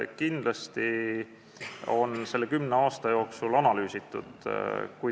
Kindlasti on selle kümne aasta jooksul seda teemat analüüsitud.